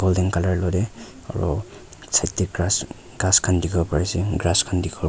golden colour lot deh aro side deh grass ghas khan dikhiwo pari asey grass kan dikhi bo --